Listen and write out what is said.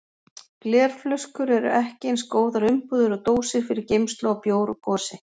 Glerflöskur eru ekki eins góðar umbúðir og dósir fyrir geymslu á bjór og gosi.